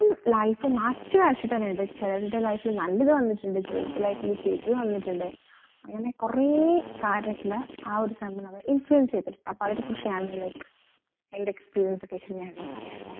ഉം life മാറ്റി മരിച്ചിട്ടനിണ്ട് ചിലരുടെ life ഇൽ നല്ലത് വന്നിട്ടീണ്ട് ചെലരുട life ഇൽ ചീത്തത് വന്നിട് അങ്ങനെ കൊറേ കാര്യത്തില് ആ ഒരു സംഭവം നമ്മളെ influence യ്തിട്ടുണ്ട് അപ്പൊ അയ്നിനെകുറിച്ചാണ് like ൻറെ experience വെച് ഞാൻ ഇന്ന് പറയാട്ടോ